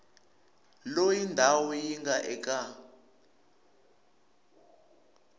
loyi ndhawu yi nga eka